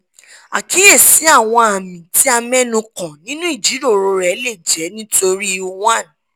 àkíyèsíàwọn àmì tí a mẹ́nu kàn nínú ìjíròrò rẹ lè jẹ́ nítorí:1